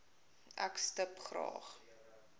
ek stip graag